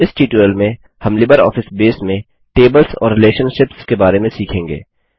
इस ट्यूटोरियल में हम लिबरऑफिस बेस में टेबल्स और रिलेशनशिप्स के बारे में सीखेंगे